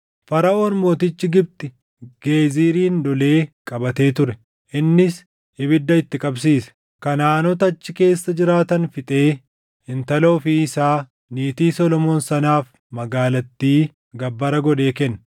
Faraʼoon mootichi Gibxi Geezirin lolee qabatee ture. Innis ibidda itti qabsiise; Kanaʼaanota achi keessa jiraatan fixee intala ofii isaa, niitii Solomoon sanaaf magaalattii gabbara godhee kenne.